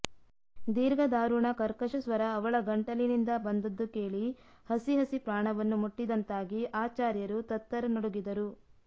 ದೀರ್ಘದಾರುಣ ಕರ್ಕಶಸ್ವರ ಅವಳ ಗಂಟಲಿನಿಂದ ಬಂದದ್ದು ಕೇಳಿ ಹಸಿಹಸಿ ಪ್ರಾಣವನ್ನು ಮುಟ್ಟಿದಂತಾಗಿ ಆಚಾರ್ಯರು ಥತ್ತರ ನಡುಗಿದರು